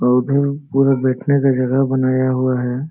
और उधर पूरा बैठने का जगह बनाया हुआ है|